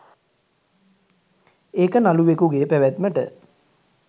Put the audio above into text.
ඒක නළුවෙකුගේ පැවැත්මට